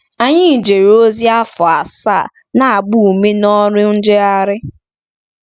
Anyị jere ozi afọ asaa na-agba ume n’ọrụ njegharị.